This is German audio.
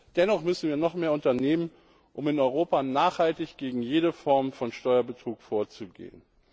Dennoch müssen wir noch mehr unternehmen, um in Europa nachhaltig gegen jede Form von Steuerbetrug vorzugehen.